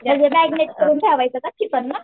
म्हणजे मॅग्रानेट करून ठेवायचं चिकन ना.